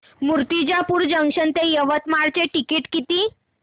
Murtijapur junction ते यवतमाळ चे ticket किती